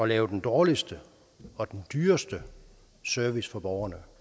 lave den dårligste og den dyreste service for borgerne